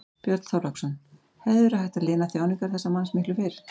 Björn Þorláksson: Hefði verið hægt að lina þjáningar þessa manns miklu fyrr?